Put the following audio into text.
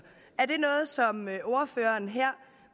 ordføreren her